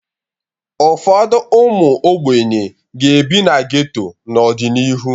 Ụfọdụ ụmụ ogbenye ga-ebi na geto n'ọdịnihu.